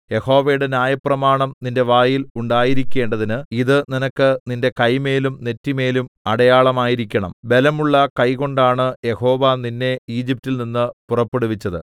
യഹോവയുടെ ന്യായപ്രമാണം നിന്റെ വായിൽ ഉണ്ടായിരിക്കേണ്ടതിന് ഇത് നിനക്ക് നിന്റെ കൈമേലും നെറ്റിമേലും അടയാളമായിരിക്കണം ബലമുള്ള കൈകൊണ്ടാണ് യഹോവ നിന്നെ ഈജിപ്റ്റിൽ നിന്ന് പുറപ്പെടുവിച്ചത്